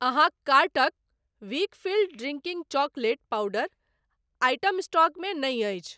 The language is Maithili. अहाँक कार्टक Weikfield drinking chocolate powder item stock मे नहि अछि।